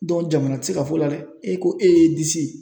jamana tɛ se ka f'o la dɛ, e ko e y'e disi